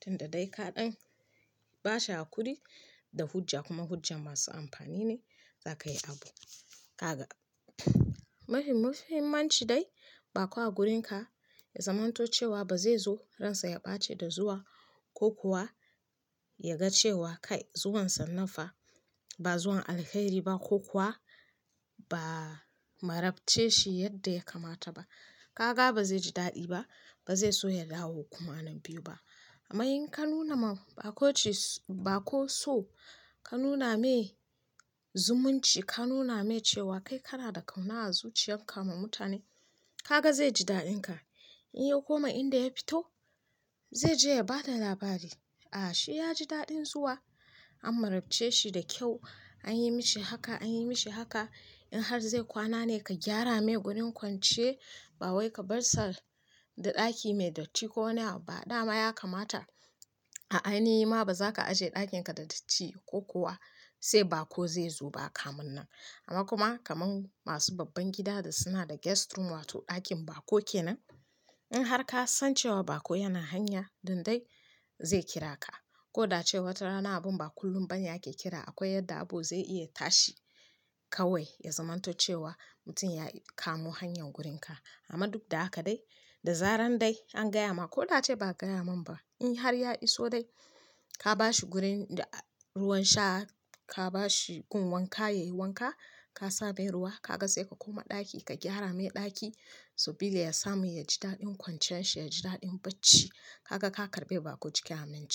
tunda dai ka dan ba shi hakuri da hujja kuma hujja masu amfani ne za ka yi abu haka. Mafi muhimmanci dai, baƙo a gurin ka ya zamanto cewa ba zai zo ransa ya ɓace da zuwa ko kuwa ya ga cewa kai zuwansa nafa ba zuwan alheri ba ko kuwa ba marabce shi yadda ya kamata ba. Haka ba zai ji daɗi ba, ba zai so ya dawo kuma nan biyu ba. Amma in ka nuna ma baƙo ce- baƙo so, ka nuna mai zumunci, ka nuna mai cewa kai kana da ƙauna a zuciyar ka ma mutane, haka zai ji daɗin ka. In ya koma inda ya fito, zai je ya ba da labari an marabce shi da kyau an yi mashi haka anyi mashi haka in har zai kuwana ne ka gyara mai wurin kuwanciya ba wai ka bar sa da daki mai dotti ko wani abu ba dama ya kamata a'a ni ma ba za ka ajiye ɗakin ka da datti ko kuwa sai baƙo zai zo ba kaman nan. Amma kuma kamar masu babban gida da suna da guest room wato ɗakin baƙo ke nan, in har ka san cewa baƙo yana hanya dan dai zai kira ka ko da ce wata rana abun ba kullum bane yake kira akwai yadda abu zai iya tashi kawai ya zamanto cewa mutum ya kamo hanyar gurin ka. Amma duk da haka dai, da zaran dai an gaya ma ko da ace ba a gaya man ba, in har ya iso dai, ka ba shi gurin da- ruwan sha, ka ba shi gun wanka ya yi wanka, ka sa mai ruwa, ka ga sai ka koma ɗaki ka gyara mai ɗaki saboda ya samu ya ji daɗin kwanciyar shi, ya ji daɗin bacci. Haka ka karɓe baƙo cikin aminci.